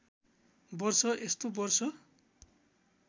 वर्ष यस्तो वर्ष